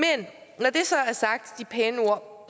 de pæne ord